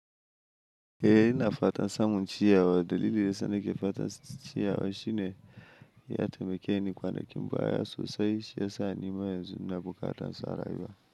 Eh ina fatan samun ciyawa. Dalilin da yana ke fatan ciyawa shine ya taimake ni kwanakin baya sosai, shi ya sa ni ma yanzu ina bukatan su a rayuwa.